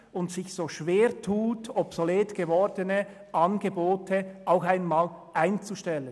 Wir tun uns wieder mal schwer damit, obsolet gewordene Angebote einzustellen.